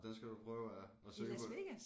Den skal du prøve at at søge på